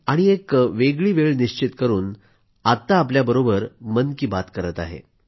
आणि एक वेगळी वेळ निश्चित करून आत्ता आपल्याबरोबर मन की बात करत आहे